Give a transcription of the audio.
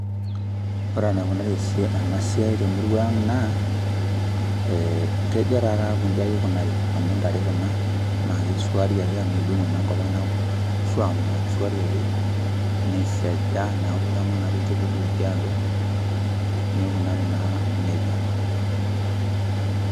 Ore enaikunari enasiai temurua ang' naa,e kejo tataake iji ikunari. Amu ntare kuna, na kisuari ake amu medung'o naa enkop ang' neku suam naa kisuari ake, nisiaja, neku keman ake ilchekuti tidialo, nikunari naa nejia.